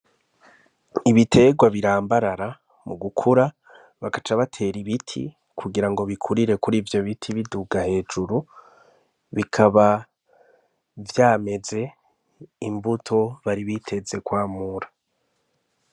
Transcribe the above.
Ibiterwa birambarara mu gukura bagaca batera ibiti kugirango bikurire kuri ivyo biti biduga hejuru bikaba vyameze imbuto bari biteze kwamura.